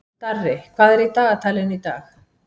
Darri, hvað er í dagatalinu í dag?